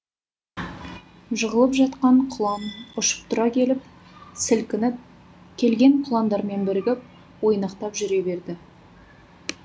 жығылып жатқан құлан ұшып тұра келіп сілкініп келген құландармен бірігіп ойнақтап жүре берді